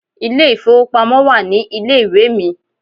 Ilé ìfowópamọ́ wà ní ilé ìwé mi.